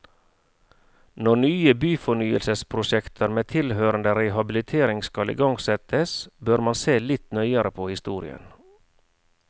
Når nye byfornyelsesprosjekter med tilhørende rehabilitering skal igangsettes, bør man se litt nøyere på historien.